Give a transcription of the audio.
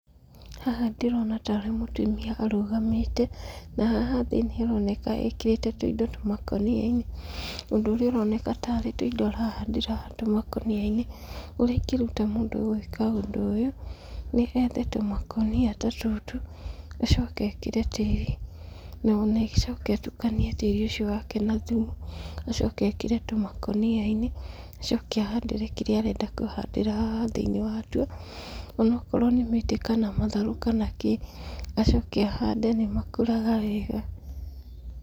Haha ndĩrona tarĩ mũtumia arũgamĩte. Na haha thĩ nĩ haroneka ekĩrĩte tũindo tũmakũnia-inĩ, ũndũ ũrĩa ũroneka tarĩ tũindo arahandĩra tũmakũnia-inĩ. Ũrĩa ingĩruta mũndũ gwĩka ũndũ ũyũ, nĩ ethe tũmakũnia ta tũtũ, acoke ekĩre tĩri na acoke atukanie tĩri ũcio wake na thumu acoke ekĩre tũmakũnia-inĩ, acoke ahandĩre kĩrĩa arenda kũhandĩra haha thĩiniĩ watuo, ona akorwo nĩ mĩtĩ kana matharũ kana kĩĩ, acoke ahande nĩ makũraga wega.